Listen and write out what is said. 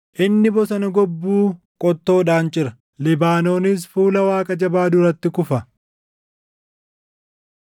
Inni bosona gobbuu qottoodhaan cira; Libaanoonis fuula Waaqa Jabaa duratti kufa.